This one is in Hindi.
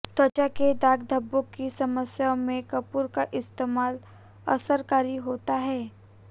त्वचा के दाग धब्बों की समस्याओं में कपूर का इस्तेमाल असरकारी होता है